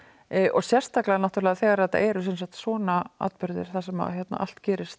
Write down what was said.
og sérstaklega þegar þetta eru svona atburðir þar sem allt gerist